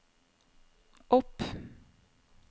opp